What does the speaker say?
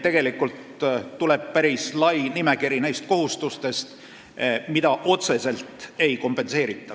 Tegelikult tuleb päris pikk nimekiri neist kohustustest, mida otseselt ei kompenseerita.